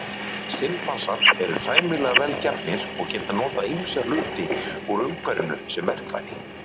Simpansar eru sæmilega vel gefnir og geta notað ýmsa hluti úr umhverfinu sem verkfæri.